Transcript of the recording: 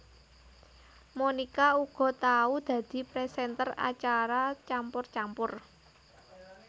Monica uga tau dadi presenter acara Campur Campur